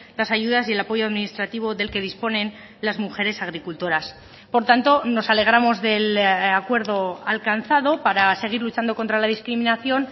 las ayudas y el apoyo administrativo del que disponen las mujeres agricultoras por tanto nos alegramos del acuerdo alcanzado para seguir luchando contra la discriminación